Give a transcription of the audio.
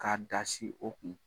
Ka dasi o kun.